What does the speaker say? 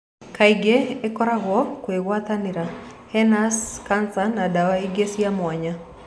Kaingĩ ĩkoragwo kũgwatanĩra, hernias, Cancer na dawa ingĩ cia mwanya.